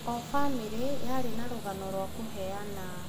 O bamĩrĩ yarĩ na rũgano rwa kũheana.